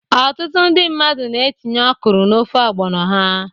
Ọtụtụ ndị mmadụ na-etinye okro n'ofe ọgbono ha.